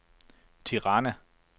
Tirana